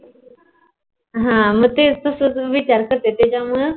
तस त्याच्या मूळ